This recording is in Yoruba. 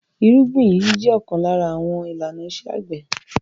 Ìrúgbìn yíyí jẹ ọ̀kan lára àwọn àwọn ìlànà iṣẹ́-àgbẹ̀.